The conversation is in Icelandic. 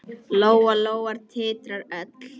Lóa-Lóa titraði öll.